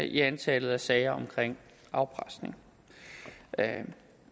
i antallet af sager om afpresning